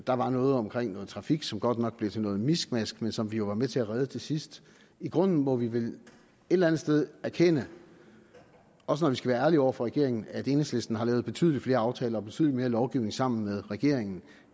der var noget omkring noget trafik som godt nok blev til noget miskmask men som vi jo var med til at redde til sidst i grunden må vi vel et eller andet sted erkende også når vi skal være ærlige over for regeringen at enhedslisten har lavet betydelig flere aftaler og betydelig mere lovgivning sammen med regeringen